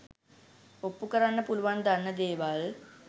ඔප්පු කරන්න පුළුවන් දන්න දේවල්